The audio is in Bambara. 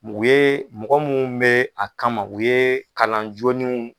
u ye mɔgɔ mun be a kama, u ye kalan jolenw